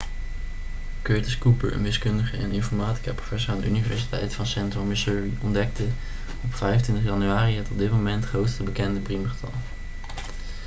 curtis cooper een wiskundige en informaticaprofessor aan de universiteit van centraal missouri ontdekte op 25 januari het op dit moment grootste bekende priemgetal